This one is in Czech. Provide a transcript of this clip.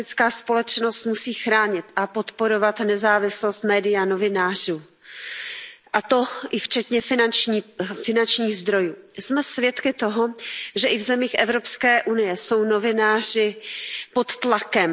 Paní předsedající, demokratická společnost musí chránit a podporovat nezávislost médií a novinářů, a to i včetně finančních zdrojů. Jsme svědky toho, že i v zemích Evropské unie jsou novináři pod tlakem.